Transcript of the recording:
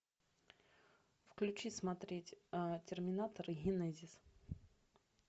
включи смотреть терминатор генезис